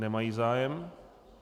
Nemají zájem.